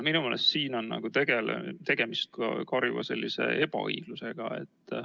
Minu meelest on siin tegemist karjuva ebaõiglusega.